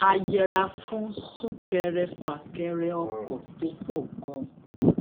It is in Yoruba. a yẹra fún súnkẹrẹfàkẹrẹ ọkọ̀ tó pò gan-an